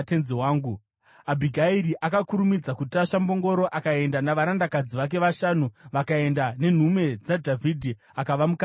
Abhigairi akakurumidza kutasva mbongoro akaenda navarandakadzi vake vashanu, vakaenda nenhume dzaDhavhidhi, akava mukadzi waDhavhidhi.